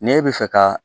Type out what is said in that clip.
Ne bɛ fɛ ka